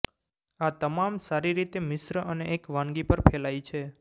આ તમામ સારી રીતે મિશ્ર અને એક વાનગી પર ફેલાય છે